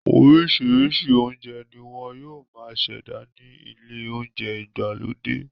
Orísirísi ounjẹ ni wọn yóò máa ṣẹda ni ilẹ olounjẹ ìgbàlódé